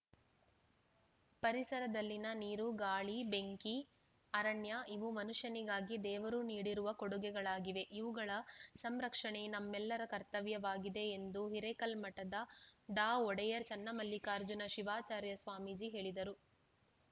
ಪರಿಸರದಲ್ಲಿನ ನೀರು ಗಾಳಿ ಬೆಂಕಿ ಅರಣ್ಯ ಇವು ಮನುಷ್ಯನಿಗಾಗಿ ದೇವರು ನೀಡಿರುವ ಕೊಡುಗೆಗಳಾಗಿವೆ ಇವುಗಳ ಸಂರಕ್ಷಣೆ ನಮ್ಮೆಲ್ಲರ ಕರ್ತವ್ಯವಾಗಿದೆ ಎಂದು ಹಿರೇಕಲ್ಮಠದ ಡಾ ಒಡೆಯರ್‌ ಚನ್ನಮಲ್ಲಿಕಾರ್ಜನ ಶಿವಾಚಾರ್ಯ ಸ್ವಾಮೀಜಿ ಹೇಳಿದರು